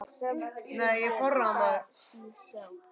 Samt segir það sig sjálft.